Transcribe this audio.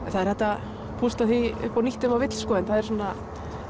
er hægt að púsla því upp á nýtt ef maður vill en það er svona